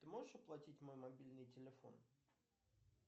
ты можешь оплатить мой мобильный телефон